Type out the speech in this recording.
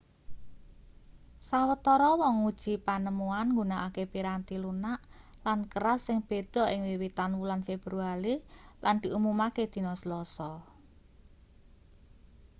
sawetara wong nguji panemuan nggunakake piranti lunak lan keras sing beda ing wiwitan wulan februari lan diumumake dina selasa